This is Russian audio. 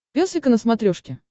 пес и ко на смотрешке